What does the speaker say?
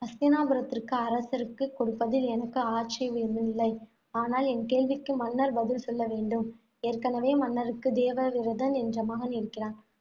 ஹஸ்தினாபுரத்திற்கு அரசருக்கு கொடுப்பதில் எனக்கு ஆட்சேபமில்லை. ஆனால், என் கேள்விக்கு மன்னர் பதில் சொல்ல வேண்டும். ஏற்கனவே மன்னருக்கு தேவவிரதன் என்ற மகன் இருக்கிறான்.